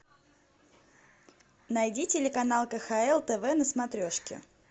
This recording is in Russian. найди телеканал кхл тв на смотрешке